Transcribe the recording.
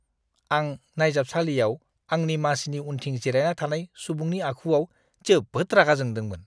आं नायजाबसालियाव आंनि मासिनि उनथिं जिरायना थानाय सुबुंनि आखुआव जोबोद रागा जोंदोंमोन।